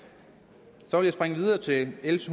så vil jeg springe videre til l